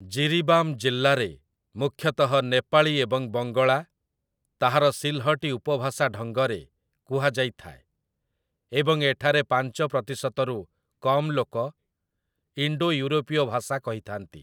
ଜିରିବାମ୍ ଜିଲ୍ଲାରେ ମୁଖ୍ୟତଃ ନେପାଳୀ ଏବଂ ବଙ୍ଗଳା, ତାହାର ସିଲ୍‌ହଟି ଉପଭାଷା ଢଙ୍ଗରେ, କୁହାଯାଇଥାଏ, ଏବଂ ଏଠାରେ ପାଞ୍ଚ ପ୍ରତିଶତରୁ କମ୍ ଲୋକ ଇଣ୍ଡୋ ୟୁରୋପୀୟ ଭାଷା କହିଥାନ୍ତି ।